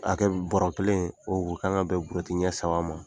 A kɛ bɔrɛ kelen o o ka kan ka bɛ buruwɛti ɲɛ saba ma.